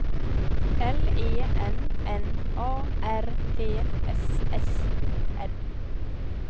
L E N N A R T S S O N